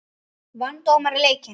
Vann dómarinn leikinn?